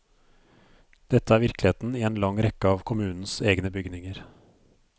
Dette er virkeligheten i en lang rekke av kommunens egne bygninger.